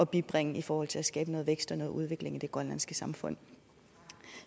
bibringe i forhold til at skabe noget vækst og noget udvikling i det grønlandske samfund